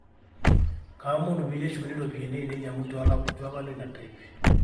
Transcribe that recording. kaomonu peyie eshukuni ropiyani aainei amu eitu alo ina trip